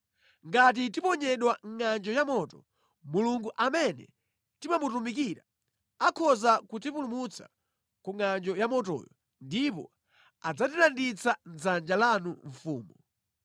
Ngati tiponyedwa mʼngʼanjo ya moto, Mulungu amene timamutumikira akhoza kutipulumutsa ku ngʼanjo yamotoyo, ndipo adzatilanditsa mʼdzanja lanu mfumu.